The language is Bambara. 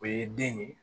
O ye den ye